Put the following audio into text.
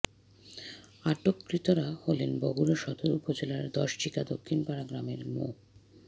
আটককৃতরা হলো বগুড়া সদর উপজেলার দশচিকা দক্ষিণপাড়া গ্রামের মো